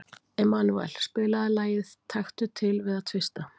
Emanúel, spilaðu lagið „Taktu til við að tvista“.